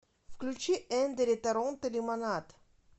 включи эндери торонто лимонад